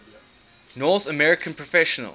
north american professional